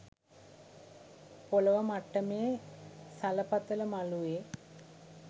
පොළොව මට්ටමේ සලපතල මළුවේ